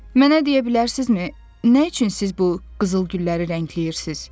Mənə deyə bilərsinizmi, nə üçün siz bu qızıl gülləri rəngləyirsiniz?